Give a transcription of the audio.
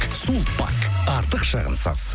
сулпак артық шығынсыз